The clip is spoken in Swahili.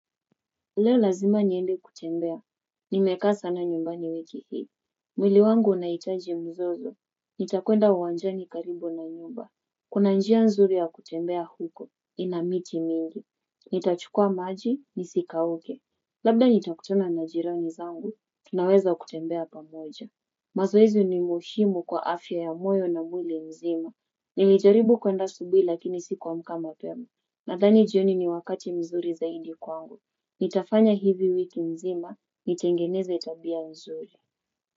Leo lazima niende kutembea, nimekaa sana nyumbani wiki hii. Mwili wangu unaitaji mzozo, nitakwenda uwanjani karibu na nyumba. Kuna njia nzuri ya kutembea huko, ina miti mingi. Nitachukua maji, nisikauke. Labda nitakutuna na jirani zangu, tunaweza kutembea pamoja. Mazoezi ni muhimu kwa afya ya moyo na mwili mzima. Nilijaribu kwenda asubuhi lakini sikuamka mapema, nadhani jioni ni wakati mzuri zaidi kwangu. Nitafanya hivi wiki nzima nitengeneze tabia nzuri.